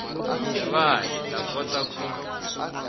va hi ta kota ku